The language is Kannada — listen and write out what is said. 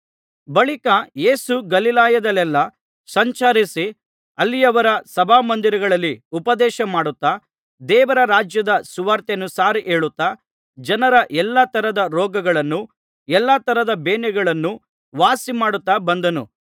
ಬಳಿಕ ಯೇಸು ಗಲಿಲಾಯದಲ್ಲೆಲ್ಲಾ ಸಂಚರಿಸಿ ಅಲ್ಲಿಯವರ ಸಭಾಮಂದಿರಗಳಲ್ಲಿ ಉಪದೇಶ ಮಾಡುತ್ತಾ ದೇವರ ರಾಜ್ಯದ ಸುವಾರ್ತೆಯನ್ನು ಸಾರಿ ಹೇಳುತ್ತಾ ಜನರ ಎಲ್ಲಾ ತರದ ರೋಗಗಳನ್ನೂ ಎಲ್ಲಾ ತರದ ಬೇನೆಗಳನ್ನೂ ವಾಸಿಮಾಡುತ್ತಾ ಬಂದನು